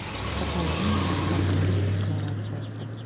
Kataloniya mustaqillik deklaratsiyasi.